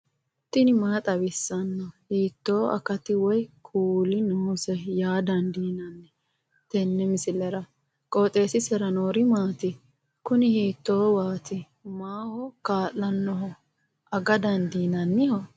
tini maa xawissanno ? hiitto akati woy kuuli noose yaa dandiinanni tenne misilera? qooxeessisera noori maati? kuni huiito waati maaho kaa'lannoho aga dandiinanniho